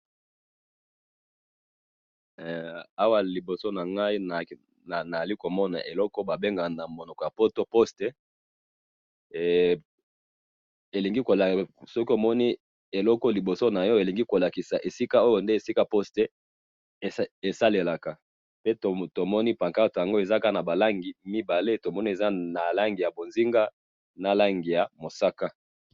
Eh! Awa liboso nangayi nazali komona eloko oyo babengaka namonoko yapoto poste, eh! Elingi kola soki omoni eloko oyo liboso nayo, elingi kolakisa eza esika oyo nde sika poste esalelaka, pe tomoni pancarte yango eza kaka nabalangi mibale, tomoni eza na langi ya bonzinga, nalangi yamusaka.